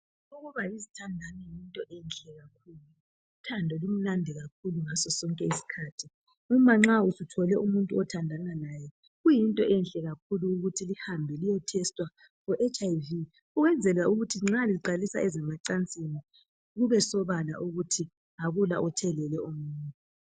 Ukuba yizithandani yinto enhle kakhulu, uthando lumnandi kakhulu ngaso sonke isikhathi. Umanxa suthole umuntu othanda laye kuyinto enhle kakhulu ukuthi lihambe liye thesta HIV.Ukwenzela ukuthi nxa liqalisa ezemacansini kube sobala ukuthi akula othelele omunye.